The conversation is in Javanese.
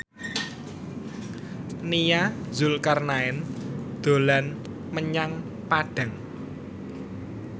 Nia Zulkarnaen dolan menyang Padang